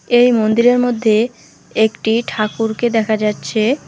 এই মন্দিরের মধ্যে একটি ঠাকুরকে দেখা যাচ্ছে।